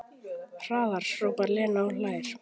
Hraðar, hrópar Lena og hlær.